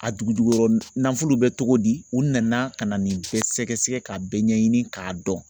A dugujukɔrɔ nafolo bɛ cogo di u nana ka na nin bɛɛ sɛgɛsɛgɛ k'a bɛɛ ɲɛɲini k'a dɔn.